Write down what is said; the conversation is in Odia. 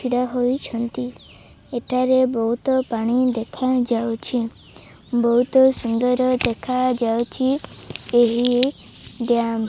ଛିଡା ହୋଇଛନ୍ତି ଏଠାରେ ବହୁତ ପାଣି ଦେଖାଯାଉଛି ବହୁତ ସୁନ୍ଦର ଦେଖାଯାଇଚି ଏହି ଦ୍ୟାମ୍ ।